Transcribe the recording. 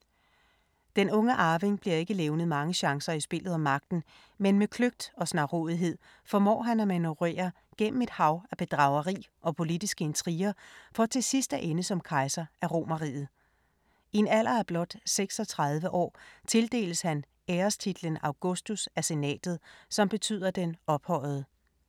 Den unge arving bliver ikke levnet mange chancer i spillet om magten, men med kløgt og snarrådighed formår han at manøvrere gennem et hav af bedrageri og politiske intriger for til sidst at ende som kejser af Romerriget. I en alder af blot 36 år tildeles han ærestitlen Augustus af senatet, som betyder den ophøjede.